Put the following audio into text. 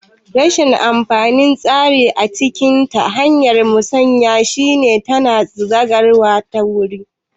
Rashin amfanin tsarin ciniki ta hanyar musanya shi ne tana gazantawa da wuri